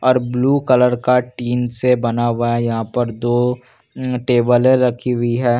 और blue colour का tin से बना हुआ यहाँ पर दो उम टेबल रखी हुई है।